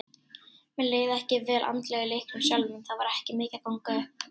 Mér leið ekki vel andlega í leiknum sjálfum, það var ekki mikið að ganga upp.